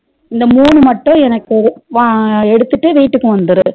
இந்த மூணு மட்டும் எனக்கு ஒரு எடுத்துட்டு வீட்டுக்கு வந்துரு